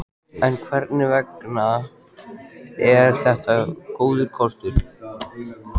En hvers vegna er þetta góður kostur?